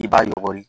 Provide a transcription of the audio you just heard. I b'a yɔgɔri